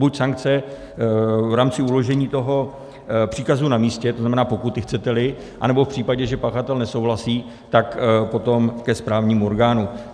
Buď sankce v rámci uložení toho příkazu na místě, to znamená, pokuty, chcete-li, anebo v případě, že pachatel nesouhlasí, tak potom ke správnímu orgánu.